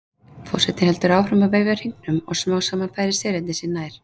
Forsetinn heldur áfram að veifa hringnum og smám saman færa selirnir sig nær.